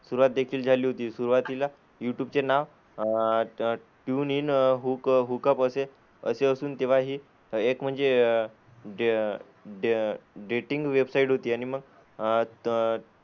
सुरुवात देखील झाली होती. सुरुवातीला युट्युबचे नाव uh tune in, hook hookup असे असे असून तेव्हा ही एक म्हणजे डे डे डेटिंग वेबसाईट होती. आणि मग अह त,